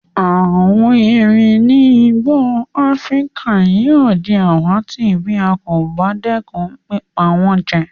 Àwon eerin ni igbó Afrika yio di àwàtì bí a kò ba dẹ́kun pípa wón jẹ